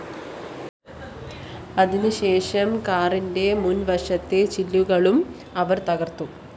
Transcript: അതിന് ശേഷം കാറിന്റെ മുന്‍വശത്തെ ചില്ലുകളും അവര്‍ തകര്‍ത്തു